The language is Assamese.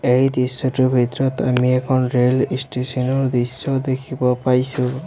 এই দৃশ্যটোৰ ভিতৰত আমি এখন ৰেল ষ্টেচন ৰ দৃশ্য দেখিব পাইছোঁ।